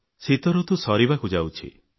ଶୀତଋତୁ ସରିବାକୁ ଯାଉଛି